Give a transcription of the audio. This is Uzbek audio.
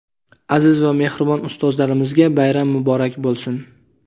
aziz va mehribon ustozlarimizga bayram muborak bo‘lsin!.